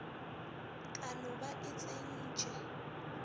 ka no ba e tsentše